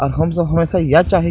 और हम सब हमेशा यह चाही --